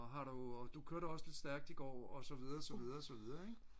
og har du du kørte også lidt stærkt i går og så videre og så videre og så videre